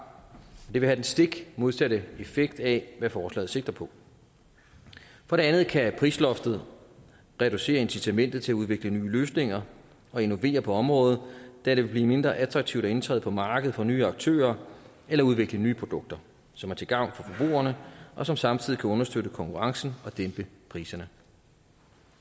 og det vil have den stik modsatte effekt af hvad forslaget sigter på for det andet kan prisloftet reducere incitamentet til at udvikle nye løsninger og innovere på området da det vil blive mindre attraktivt at indtræde på markedet for nye aktører eller at udvikle nye produkter som er til gavn for forbrugerne og som samtidig kan understøtte konkurrencen og dæmpe priserne